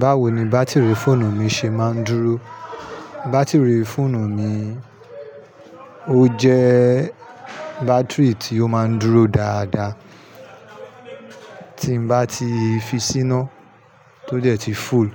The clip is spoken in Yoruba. Báwo ni bátìrì fóònù mi ṣe máa ń dúró? Bátìrì fóònù mi ó jẹ bátìrì tí ó máa ń dúró dáadáa. Tí n bá ti fi síná tó dẹ̀ ti full,